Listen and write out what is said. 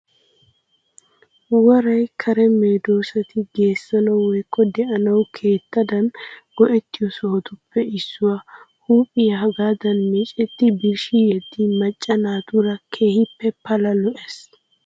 Woray kare medossati geessanawu woyikko de'anawu keettadan go'ettiyo sohotuppe issuwa. Huuphiya hagaadan meecetti birshshi yeddin macca naatuura keehippe pala lo'ees.